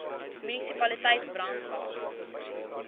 munisipaliteit brandwatch